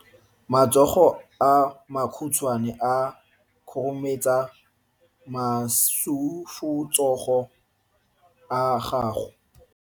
Matsogo a makhutshwane a khurumetsa masufutsogo a gago.